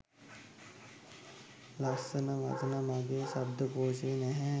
ලස්සනවචන මගේ ශබ්ධකෝෂයේ නෑ